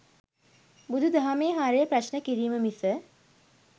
බුදු දහමේ හරය ප්‍රශ්න කිරීම මිස